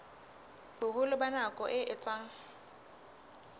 boholo ba nako e etsang